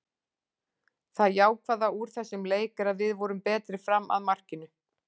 Það jákvæða úr þessum leik er að við vorum betri fram að markinu.